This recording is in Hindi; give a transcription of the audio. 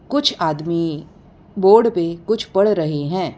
कुछ आदमी बोर्ड पे कुछ पढ़ रहे हैं।